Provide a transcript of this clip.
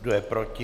Kdo je proti?